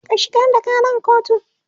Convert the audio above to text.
ka shigar da Karan kotu!